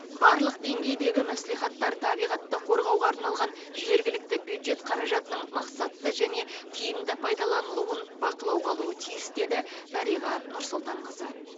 барлық деңгейдегі мәслихаттар табиғатты қорғауға арналған жергілікті бюджет қаражатының мақсатты және тиімді пайдаланылуын бақылауға алуы тиіс деді дариға нұрсұлтанқызы